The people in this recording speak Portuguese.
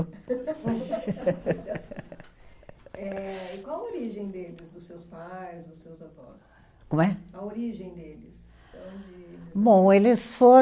Eh, e qual a origem deles, dos seus pais, dos seus avós? Como é? A origem deles, onde. Bom, eles fo